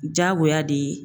Diyagoya de ye